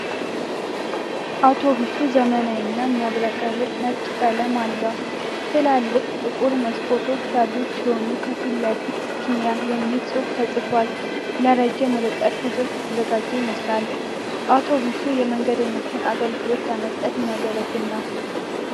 አውቶቡሱ ዘመናዊና የሚያብረቀርቅ ነጭ ቀለም አለው። ትላልቅ ጥቁር መስኮቶች ያሉት ሲሆን፣ ከፊት ለፊት "ስካኒያ" የሚል ጽሑፍ ተጽፏል። ለረጅም ርቀት ጉዞዎች የተዘጋጀ ይመስላል። አውቶቡሱ የመንገደኞችን አገልግሎት ለመስጠት የሚያገለግል ነው።